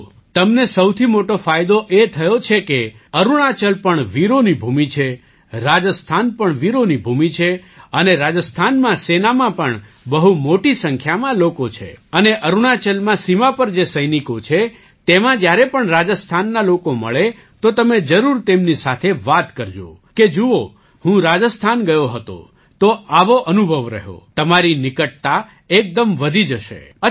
જુઓ તમને તો સૌથી મોટો ફાયદો એ થયો છે કે અરુણાચલ પણ વીરોની ભૂમિ છે રાજસ્થાન પણ વીરોની ભૂમિ છે અને રાજસ્થાનમાં સેનામાં પણ બહુ મોટી સંખ્યામાં લોકો છે અને અરુણાચલમાં સીમા પર જે સૈનિકો છે તેમાં જ્યારે પણ રાજસ્થાનના લોકો મળે તો તમે જરૂર તેમની સાથે વાત કરજો કે જુઓ હું રાજસ્થાન ગયો હતો તો આવો અનુભવ રહ્યો તમારી નિકટતા એકદમ વધી જશે